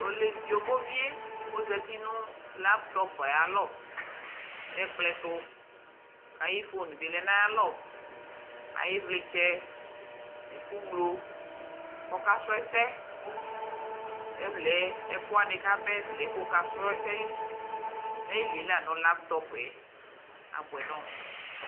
yovo vie ɔzati nu laptɔp ayalɔ nu ekplɔ tu aiƒon by lɛ naya lɔ ivlitchɛ nu ɛko ŋlo kɔ ka srɔ esɛ ɛvlɛ ɛko wani kɔba ba ko wuka srɔ na ylie la nu laptɔpɛ aboɛ nɔ mu